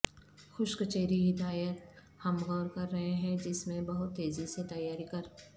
خشک چیری ہدایت ہم غور کر رہے ہیں جس میں بہت تیزی سے تیاری کر